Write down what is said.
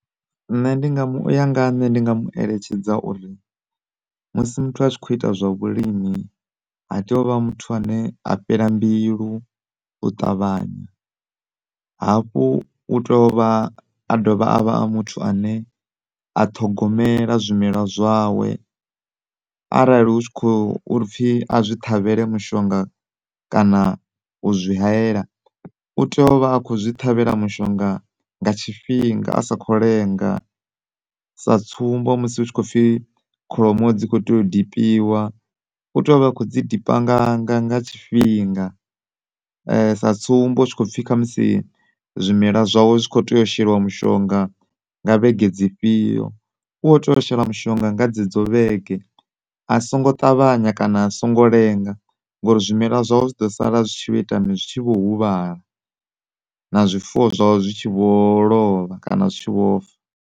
Nṋe ndi nga mu uya nga ha nṋe ndi nga mu eletshedza uri musi muthu a tshi kho ita zwa vhulimi ha tei uvha muthu ane a fhela mbilu u ṱavhanya, hafhu u tea uvha a dovha avha muthu ane a ṱhogomela zwimela zwawe. Arali hu tshi kho upfi a zwi ṱhavhele mushongo kana uzwi haela utea uvha a kho zwi ṱhavhela mushonga nga tshifhinga asa kho lenga sa tsumbo musi hu tshi kho pfi kholomo dzi kho tea u dipiwa, u tea uvha a kho dzi dipa nga nga nga tshifhinga, sa tsumbo hu tshi kho pfi khamusi zwimela zwawe zwi kho tea u shelwa mushonga nga vhege dzi fhio, u kho tea u shela mushonga nga dzedzo vhege. A songo ṱavhanya kana a songo lenga ngori zwimela zwawe zwi ḓo sala zwi tshi vho ita mini, zwi tshi vho huvhala na zwifuwo zwawe zwi tshi vho lovha kana zwi tshi vho fa.